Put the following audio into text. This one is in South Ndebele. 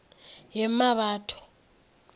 yemmabatho